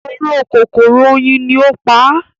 “oró kòkòrò oyin” ni ó pa á.